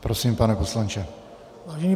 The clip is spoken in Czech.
Prosím, pane poslanče.